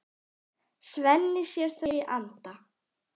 Svenni sér þau í anda.